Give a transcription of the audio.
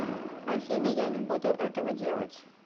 афина я не буду этого делать